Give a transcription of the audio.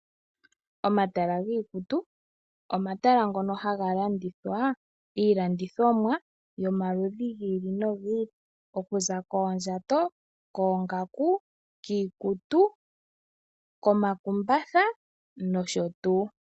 Omatala giikutu omatala ngono haga landithwa iilandithomwa yo maludhi giili no giili okuza koondjato, koongaku , kiikutu ,komakumbatha nosho tuu.